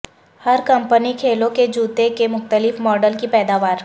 ہر company کھیلوں کے جوتے کے مختلف ماڈل کی پیداوار